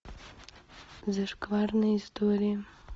зашкварные истории